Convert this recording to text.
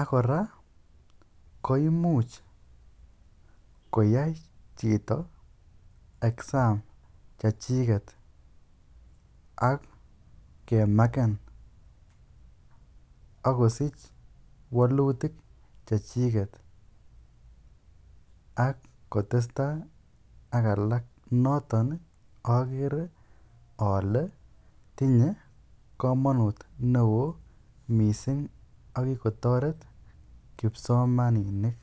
ak kora koimuch koyai chito exam chechiket ak kemaken ak kosich wolutik chechiket ak kotesta ak alak noton okere olee tinye komonut neo ak ko kikotoret kipsomaninik.